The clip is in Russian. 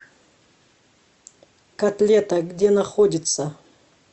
котлета где находится